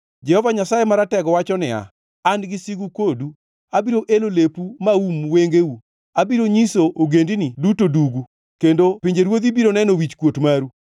Jehova Nyasaye Maratego wacho niya, “An gi sigu kodu. Abiro elo lepu maum wengeu. Abiro nyiso ogendini duto dugu, kendo pinjeruodhi biro neno wichkuot maru.